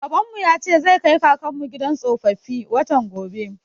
Babanmu ya ce zai kai kakanmu gidan tsofaffi, watan gobe.